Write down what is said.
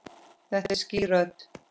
Þetta er skýr rödd.